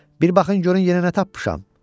Bir baxın görün yenə nə tapmışam!